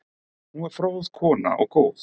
Hún var fróð kona og góð.